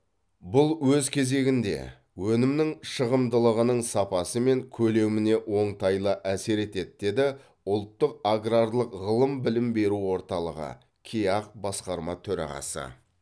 бұл өз кезегінде өнімнің шығымдылығының сапасы мен көлеміне оңтайлы әсер етеді деді ұлттық аграрлық ғылыми білім беру орталығы кеақ басқарма төрағасы